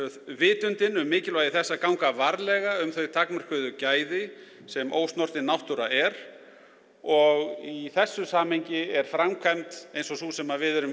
vitundin um mikilvægi þess að ganga varlega um þau takmörkuðu gæði sem ósnortin náttúra er og í þessu samhengi er framkvæmd eins og sú sem við erum